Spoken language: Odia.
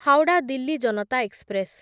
ହାୱଡ଼ା ଦିଲ୍ଲୀ ଜନତା ଏକ୍ସପ୍ରେସ୍